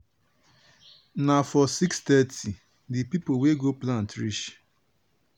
na for six thirty di pipo wey go plant reach.